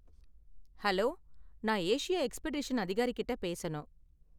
Hello! நான் Asia expedition அதிகாரிகிட்ட பேசணும்?